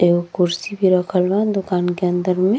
एगो कुर्सी भी रखल बा दोकान के अंदर में।